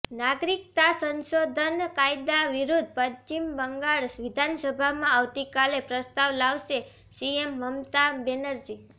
નાગરિકતા સંશોધન કાયદા વિરુદ્ધ પશ્ચિમ બંગાળ વિધાનસભામા આવતીકાલે પ્રસ્તાવ લાવશે સીએમ મમતા બેનર્જી